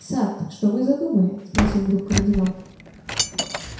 сатт что вы задумали спросил вдруг кардинал